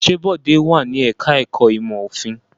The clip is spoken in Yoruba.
Ṣé Bọ̀dé wà ní ẹ̀ka-ẹ̀kọ́ ìmọ̀-òfin?